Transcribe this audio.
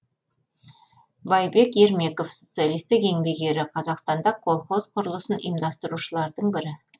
байбек ермеков социалистік еңбек ері қазақстанда колхоз құрылысын ұйымдастырушылардың бірі